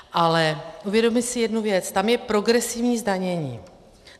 Ale uvědomme si jednu věc - tam je progresivní zdanění.